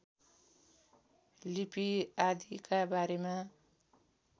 लिपि आदिका बारेमा